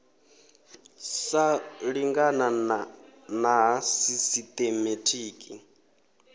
sa lingana na ha sisitemetiki